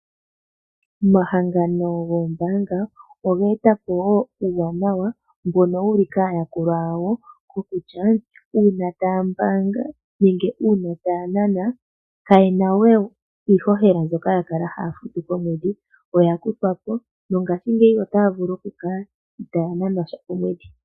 Omahangano goombanga ogetapo wo uuwanawa mbono wuli kayakulwa yawo kokutya uuna taambaanga nenge uuna tanana kayena we iihohela mbyoka yakala haya futu komwedhi oya kuthwa po nongashingeyi otavulu okukala itayananwa sha omwedhi.